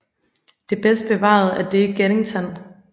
Det bedst bevarede er det i Geddington